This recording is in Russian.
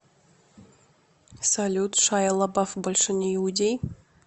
салют шайя лабаф больше не иудей